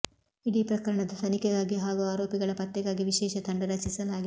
ಇಡೀ ಪ್ರಕರಣದ ತನಿಖೆಗಾಗಿ ಹಾಗೂ ಆರೋಪಿಗಳ ಪತ್ತೆಗಾಗಿ ವಿಶೇಷ ತಂಡ ರಚಿಸಲಾಗಿತ್ತು